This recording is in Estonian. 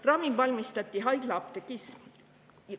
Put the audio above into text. Ravim valmistati haiglaapteegis.